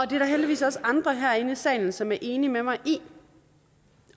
det er der heldigvis også andre herinde i salen som er enig med mig i